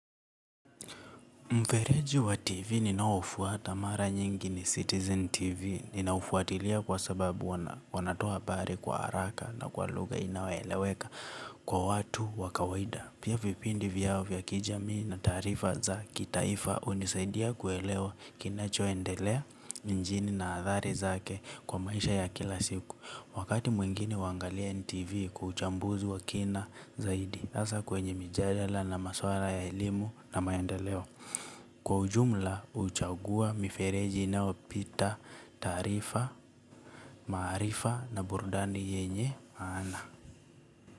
Mvereji wa TV ninaufuata mara nyingi ni Citizen TV ninaufuatilia kwa sababu wanatoa habari kwa haraka na kwa luga inaweleweka kwa watu wakawaida. Pia vipindi vyao vya kijami na tarifa za kitaifa unisaidia kuelewa kinachoendelea njini na athari zake kwa maisha ya kila siku. Wakati mwingine wangalia NTV kwa uchambuzi wa kina zaidi asa kwenye mijadala na maswara ya elimu na mayendelewo. Kwa ujumla uchaguwa mifereji nao pita tarifa marifa na burdani yenye mana.